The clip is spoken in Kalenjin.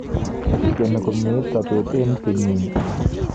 Kigeni komyeit sobeet eng kenyini